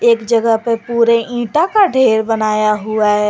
एक जगह पे पूरे ईटा का ढेर बनाया हुआ है।